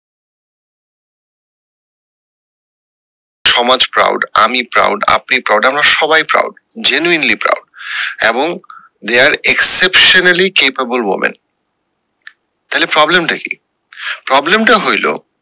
সমাজ proud আমি proud আপনি proud আমরা সবাই proud genuinely proud এবং they are exceptionally capable women তাহলে problem টা কি problem টা হইলো।